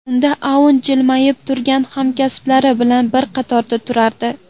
Unda Aun jilmayib turgan hamkasblari bilan bir qatorda turardi.